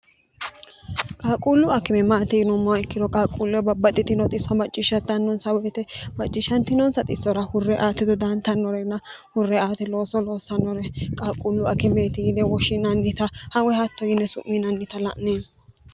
qaaquullu akime maati yinommoa ikkiro qaaquullee babbaxxitino xisso macciishshatannonsa woyite macciishshantinonsa xissora hurre aati dodaantannorena hurre aate looso loossannore qaaquullu akimeeti yine woshshiinannita woy hatto yine su'minannita la'neemo.